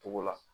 Togo la